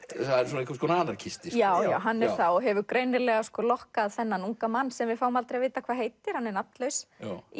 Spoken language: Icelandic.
það er svona einhvers konar anarkisti já hann er það og hefur greinilega lokkað þennan unga mann sem við fáum aldrei að vita hvað heitir hann er nafnlaus